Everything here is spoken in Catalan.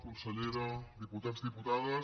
consellera diputats diputades